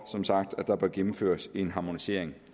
som sagt bør gennemføres en harmonisering